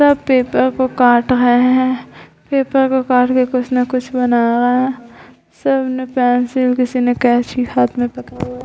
सब पेपर को काट रहे हैं पेपर को काट के कुछ न कुछ बना रहे हैं सब ने पेंसिल किसी ने कैंची हाथ में पकड़ा हुआ है।